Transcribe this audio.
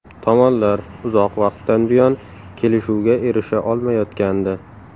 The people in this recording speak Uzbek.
Tomonlar uzoq vaqtdan buyon kelishuvga erisha olmayotgandi.